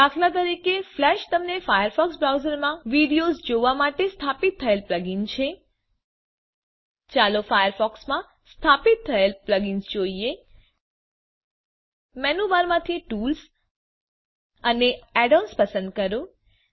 દાત flash તમે Firefox બ્રાઉઝરમાં videos જોવા માટે સ્થાપિત થયેલ પ્લગઇન છે ચાલો ફાયરફોકસ માં સ્થાપિત થયેલ પ્લગઈનસ જોઈએ મેનુ બારમાંથી tools અને એડન્સ પસંદ કરો